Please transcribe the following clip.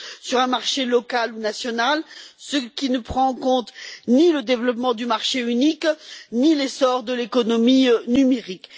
sur un marché local ou national, ce qui ne prend en compte ni le développement du marché unique, ni l'essor de l'économie numérique.